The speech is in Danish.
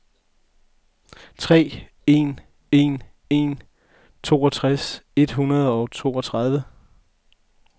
tre en en en toogtres et hundrede og toogtredive